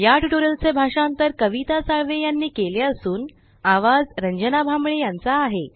या ट्यूटोरियल चे भाषांतर कविता साळवे यांनी केले असून आवाज रंजना भांबळे यांचा आहे